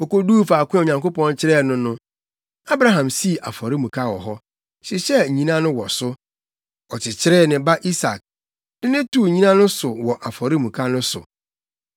Wokoduu faako a Onyankopɔn kyerɛɛ no no, Abraham sii afɔremuka wɔ hɔ, hyehyɛɛ nnyina no wɔ so. Ɔkyekyeree ne ba Isak, de no too nnyina no so wɔ afɔremuka no so.